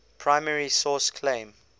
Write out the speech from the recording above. primary source claim